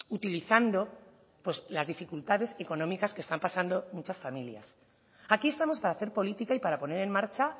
utilizando pues las dificultades económicas que están pasando muchas familias aquí estamos para hacer política y para poner en marcha